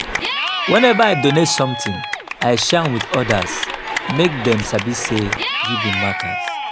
whenever i donate something i share am with others make dem sabi say giving matters.